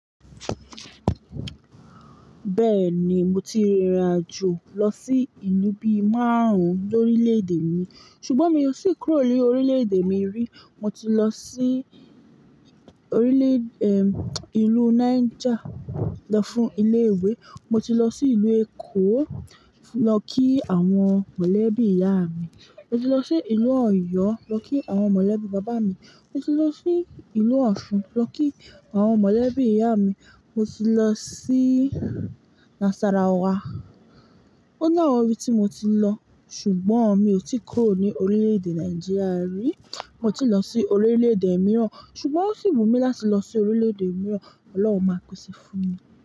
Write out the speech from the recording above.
Bẹ́ẹ̀ ni mo ti rìnrìn àjò lọ sí ìlú bí márùn ní orílẹ̀-èdè mi. Ṣùgbọ́n mi ò tì kúrò ní orílẹ̀-èdè mi rí. Mo ti lo si orile, ilu Niger, lo fun ile iwe. Mo ti lọ sí ìlú Èkó lọ kí àwọn mọ̀lẹ́bí ìyá mi. Mo ti lọ sí ìlú Ọ̀yọ́ lọ kí àwọn mọ̀lẹ́bí bàbá mi. Mo ti lọ sí ìlú Osun lọ kí àwọn mọ̀lẹ́bí ìyá mi. Mo ti lọ sí Nasarawa. Ó ni awon ibi tí mo ti lọ. Ṣùgbọ́n mi ò tí ì kúrò ní orílẹ̀-èdè Nàìjíríà rí. Mo ti lọ sí orílẹ̀-èdè mìíràn. Ṣùgbọ́n ó sì wù mí láti lọ sí orílẹ̀-èdè mìíràn. Ọlọ́run máa pese fún mi.